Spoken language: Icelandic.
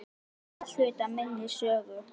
Hann er hluti af minni sögu.